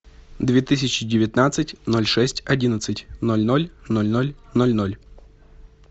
две тысячи девятнадцать ноль шесть одиннадцать ноль ноль ноль ноль ноль ноль